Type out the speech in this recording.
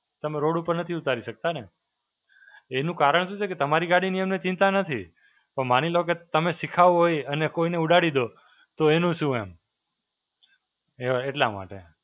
તમે રોડ ઉપર નથી ઉતારી શકતા ને. એનું કારણ શું છે કે તમારી ગાડીની એમને ચિંતા નથી. પણ માની લો કે તમે સિખાઓ એ અને કોઈને ઉડાડી દો, તો એનું શું? એમ. અ એટલા માટે.